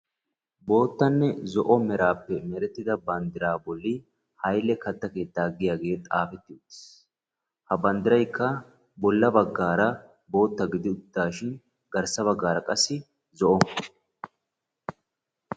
Boottanne zo''o merappe merettida banddiraa bolli Hayle katta keettaa giyaage xaafeti uttiis. Ha banddiraykka bolla baggaara bootta gidi uttidaashin garssa baggaara qa zo''o.